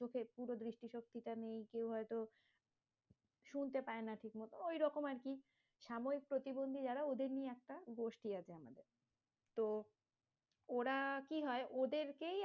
Okay পুরো দৃষ্টি শক্তি টা নেই, কেউ হয়তো শুনতে পায়না ঠিকমতো, ওই রকম আরকি সাময়িক প্রতিবন্ধী যারা ওদের নিয়ে একটা গোষ্ঠী আছে। তো ওরা কি হয় ওদেরকেই